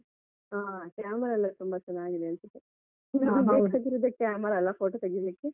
ಹ camera ಎಲ್ಲಾ ತುಂಬಾ ಚೆನ್ನಾಗಿದೆ ಅನ್ಸತ್ತೇ. ಬೇಕಾಗಿರೋದೇ camera ಅಲ್ಲ photo ತೆಗಿಲಿಕ್ಕೆ.